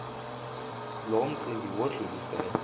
loo mcimbi wudlulisele